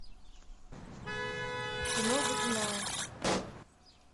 кино водяная